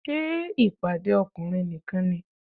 Ṣé ìpàdé ọkùnrin nìkan ni?